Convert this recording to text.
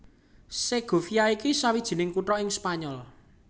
Segovia iku sawijining kutha ing Spanyol